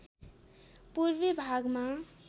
पूर्वी भागमा